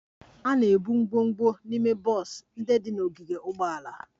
A na-ebu ngwongwo n'ime bọs ndị dị n'ogige ụgbọala